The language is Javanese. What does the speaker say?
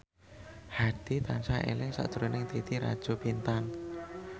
Hadi tansah eling sakjroning Titi Rajo Bintang